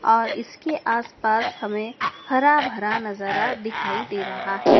और इसके आस पास हमें हरा भरा नजारा दिखाई दे रहा है।